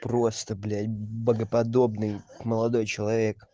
просто блять богоподобный молодой человек